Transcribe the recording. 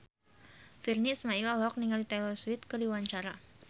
Virnie Ismail olohok ningali Taylor Swift keur diwawancara